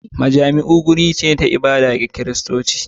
Majami'u wuri ne na ibada ga Kiristoci.